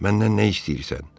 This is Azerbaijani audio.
Məndən nə istəyirsən?